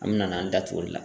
An me na n'an da tun o la.